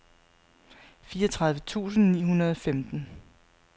fireogtredive tusind ni hundrede og femten